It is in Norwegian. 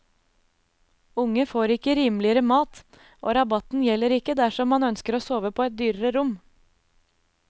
Unge får ikke rimeligere mat, og rabatten gjelder ikke dersom man ønsker å sove på et dyrere rom.